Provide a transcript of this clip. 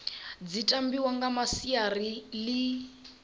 dzi tambiwa nga masiari ḽi